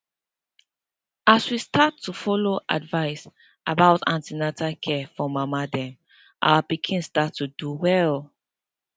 as we start to follow advice about an ten atal care for mama dem our pikin start to do well